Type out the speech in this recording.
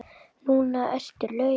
Núna ertu laus.